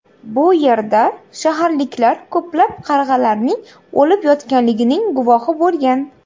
Bu yerda shaharliklar ko‘plab qarg‘alarning o‘lib yotganligining guvoh bo‘lgan.